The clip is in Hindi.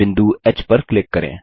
बिंदु ह पर क्लिक करें